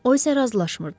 O isə razılaşmırdı.